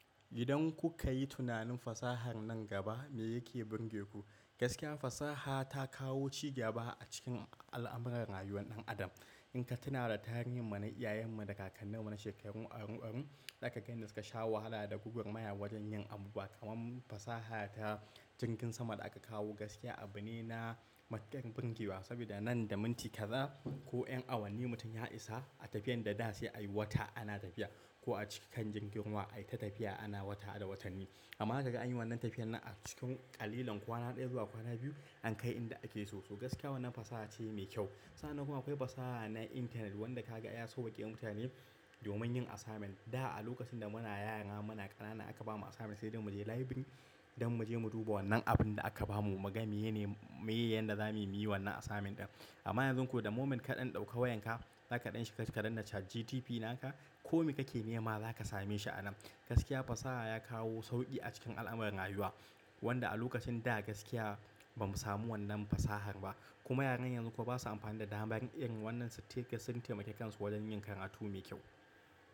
Idan kuka yi tunanin fasahar nan gaba me yake burge ku? Gaskiya fasaha ta kawo cigaba a cikin al'amuran rayuwan ɗan adam. In ka tuna da tarihin mana iyayenmu da kakanninmu na shekarun arun arun, za ka ga inda suka sha wahala da gugarmaya wajen yin abu ba kaman mu fasaha ta jingin sama da aka kawo gaskiya abu ne na matun bunge wa. Sabida nan da minti kaza ko ƴan awanni mutum ya isa a tafiyan da da sai a yi wata ana tafiya ko a cikan jingin wa ai ta tafiya ana wata da watanni. Amma daga an yi wannan tafiyan nan a cikin ƙalilan kwana ɗaya zuwa kwana biyu, an kai inda ake so so. Gaskiya wannan fasaha ce mai kyau. Sannan kuma akwai fasaha na internet wanda ka ga ya sauwaƙe mutane domin yin asamen. Da a lokacin da muna yara muna ƙanana aka ba mu asamen sai dai mu je library don mu je mu duba wannan abun da aka ba mu. Mgami yene muyi yanda za mu yi wannan asamen ɗin. Amma yanzu ko da moment kaɗan ɗauka wayanka, za kaɗa shiga ka danna chat GTP naka, kome kake nema za ka same shi a nan. Gaskiya fasaha ya kawo sauƙi a cikin al'amuran rayuwa wanda a lokacin da gaskiya ba mu samu wannan fasahar ba. Kuma yaran yanzu kuma ba su amfani da damar in wannan su take sun taimaki kansu wajen yin karatu mai kyau.